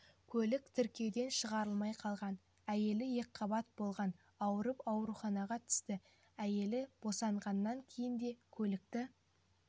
көлік тіркеуден шығарылмай қалғанда әйелі екіқабат болған ауырып ауруханаға түсті әйелі босанғаннан кейін де көлікті